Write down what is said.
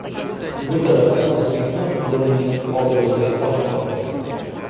Bu tarafdan O‘zbekiston futbolining obro‘si oshmoqda.